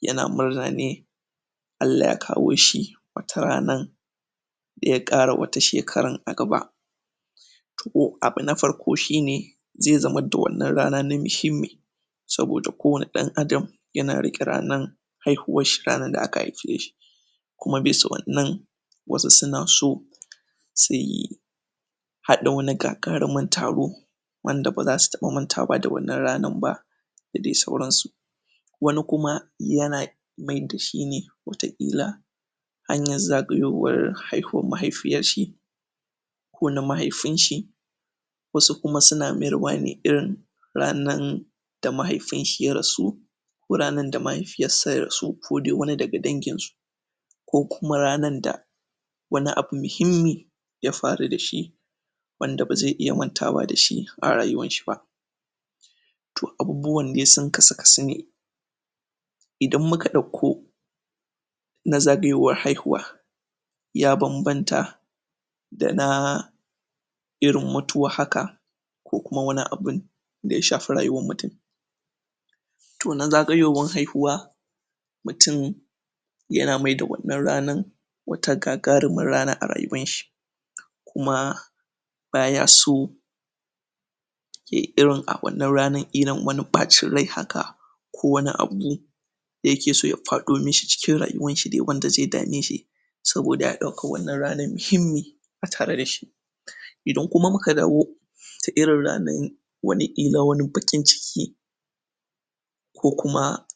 yana murna ne Allah ya kawo shi wata ranan da ya ƙara wata shekaran a gaba to abu na farko shine ze zama da wannan rana na mihimmi saboda ko wani ɗan adam yana riƙe ranan haihuwan shi ranan da aka haipe shi kuma bisa wannan wasu suna so haɗa wani gagarumin taro wanda baza su taɓa mantawa da wannan ranan ba da dai sauransu wani kuma yana maida shi ne wata ƙila hanyan zagayowar haihuwar mahaifiyar shi ko na mahaifin shi wasu kuma suna mayarwa ne irin ranan ta mahaifin shi ya rasu ko ranan da mahaifiyar sa ya rasu ko dai wani daga danginsu ko kuma ranan da wani abu mihimmi ya faru da shi wanda ba ze iya mantawa da shi a rayuwanshi ba to abubuwan de sun kasu ne idan muka ɗauko na zagayowar haihuwa ya bambanta da na irin mutuwa haka ko kuma wani abun da ya shafi rayuwan mutum to na zagayowan haihuwa mutum yana maida wannan ranan wata gagarumar rana a rayuwanshi koma baya so yayi irin a wannan ranan irin wani ɓaacin rai haka ko wani abu yake so ya faɗo mishi cikin rayuwan shi dai wanda ze dame shi saboda ya ɗauka wannan ranan mihimmi a tare da shi idan kuma muka dawo ta irin ranan wani ƙila wani baƙin ciki ko kuma